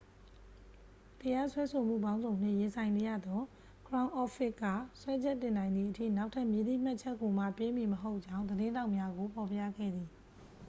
တရားစွဲဆိုမှုပေါင်းစုံနှင့် ရင်ဆိုင်နေရသော ခရောင်းအော့ဖ်ဖစ် က စွဲချက်တင်နိုင်သည်အထိ နောက်ထပ်မည်သည့်မှတ်ချက်ကိုမှ ပေးမည်မဟုတ်ကြောင်း သတင်းထောက်များကို ဖော်ပြခဲ့သည်